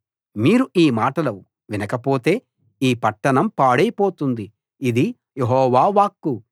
మీరు ఈ మాటలు వినకపోతే ఈ పట్టణం పాడైపోతుంది ఇది యెహోవా వాక్కు